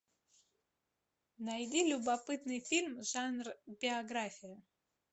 найди любопытный фильм жанр биография